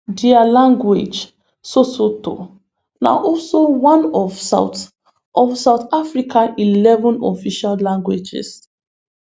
dia language sesotho na also one of south of south africa eleven official languages